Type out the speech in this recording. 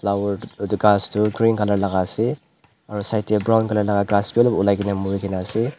flower itu ghas tu green color laga ase aro side tey brown color ghas wi olop ulaigena murigena ase.